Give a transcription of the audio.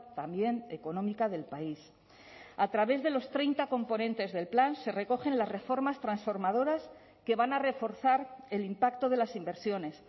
también económica del país a través de los treinta componentes del plan se recogen las reformas transformadoras que van a reforzar el impacto de las inversiones